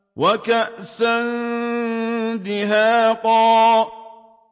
وَكَأْسًا دِهَاقًا